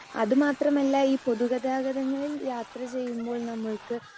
speaker 2 അത് മാത്രമല്ല ഈ പൊതുഗതാഗതങ്ങളിൽ യാത്ര ചെയ്യുമ്പോൾ നമ്മൾക്ക്